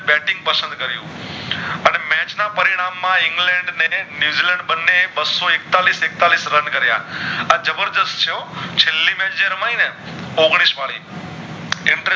match ના પરિણામ માં ઇંગ્લેન્ડ અને ન્યૂઝીલેન્ડ બને બાશો એકતાલીશ એકતાલીશ રન કારિયા આ જબરદષ્ટ છે હો છેલ્લી match જે રમાય ને ઐયોગનિશ વળી